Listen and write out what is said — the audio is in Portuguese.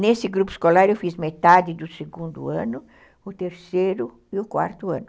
Nesse grupo escolar eu fiz metade do segundo ano, o terceiro e o quarto ano.